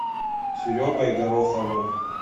серегой гороховым